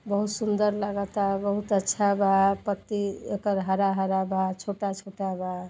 बहुत सुंदर लागता। बहुत अच्छा बा। पत्ती एकल हरा हरा बा। छोटा छोटा बा।